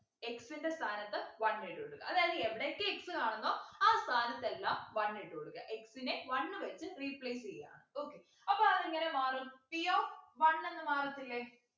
x ൻ്റെ സ്ഥാനത്ത് one ഇട്ടു കൊടുക്കാ അതായത് എവിടെയൊക്കെ x കാണുന്നോ ആ സ്ഥാനത്ത് എല്ലാം one ഇട്ടു കൊടുക്കാ x നെ one വച്ച് replace ചെയ്യാണ് okay അപ്പൊ അതെങ്ങനെ മാറും p of one എന്ന് മാറത്തില്ലേ